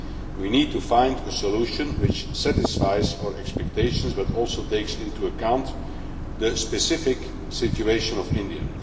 We need to find a solution which satisfies our expectations but also takes into account the specific situation of India.